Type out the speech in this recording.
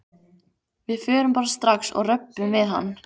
Við förum bara strax og röbbum við hann.